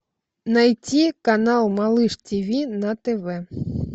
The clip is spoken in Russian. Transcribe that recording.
найти канал малыш тиви на тв